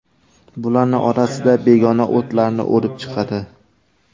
Bularning orasida begona o‘tlarni o‘rib chiqadi.